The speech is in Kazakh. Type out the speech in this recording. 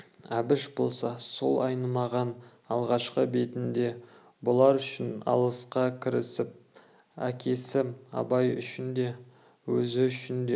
әбіш болса сол айнымаған алғашқы бетінде бұлар үшін алысқа кірісіп әкесі абай үшін де өзі үшін де